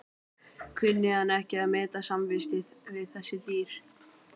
Kunni hann ekki að meta samvistir við þessi dýr.